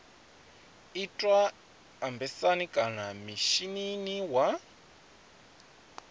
itwa embasini kana mishinini wa